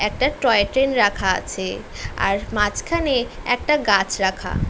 একটা টয়ট্রেন রাখা আছে আর মাঝখানে একটা গাছ রাখা।